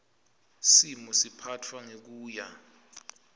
simo siphatfwa ngekuya